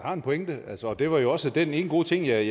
har en pointe og det var jo også den ene gode ting jeg